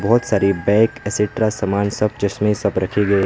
बहुत सारे bag extra सामान सब चश्में सब रखे गए--